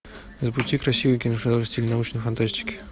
запусти красивый киношедевр в стиле научной фантастики